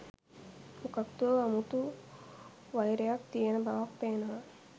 මොකද්දෝ අමුතු වයිරයක් තියන බවක් පේනව